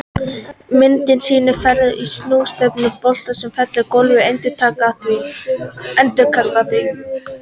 Myndin sýnir ferða- og snúningsstefnu bolta sem fellur á gólf og endurkastast af því.